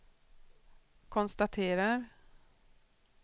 konstaterar